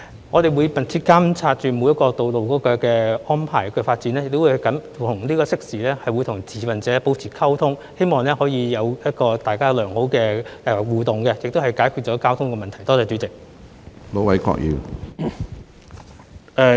我們會密切監察每條道路的安排和發展，亦會適時與持份者保持溝通，希望大家可以良好互動，從而解決交通問題。